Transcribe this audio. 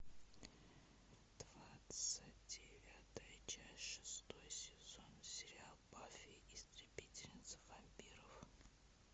двадцать девятая часть шестой сезон сериал баффи истребительница вампиров